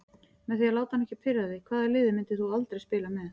Með því að láta hann ekki pirra þig Hvaða liði myndir þú aldrei spila með?